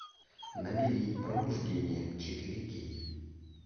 набери пробуждение четыре кей